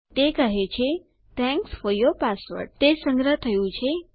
તે કહે છે થેંક્સ ફોર યૂર પાસવર્ડ તે સંગ્રહ થઇ ગયું છે